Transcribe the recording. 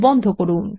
বন্ধ করুন